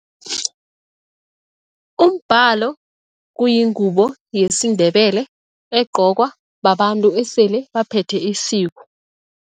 Umbhalo kuyingubo yesiNdebele egqokwa babantu esele baphethe isiko.